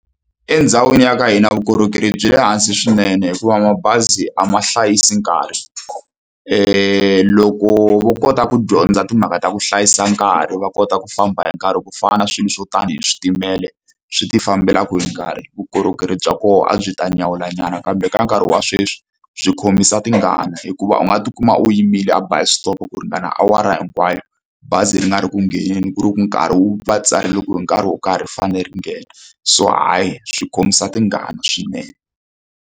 Endhawini ya ka hina vukorhokeri byi le hansi swinene hikuva mabazi a ma hlayisi nkarhi leyi loko vo kota ku dyondza timhaka ta ku hlayisa nkarhi va kota ku famba hi nkarhi ku fana na swilo swo tanihi switimela swi tifambelaka hi nkarhi vukorhokeri bya koho a byi ta nyawulanyana kambe ka nkarhi wa sweswi byi khomisa tingana hikuva u nga tikuma u yimile a bus stop ku ringana awara hinkwayo bazi ri nga ri ku ngheneni ku ri ku nkarhi wu va tsarile ku hi nkarhi wo karhi ri fanele ri nghena so hayi swi khomisa tingana swinene.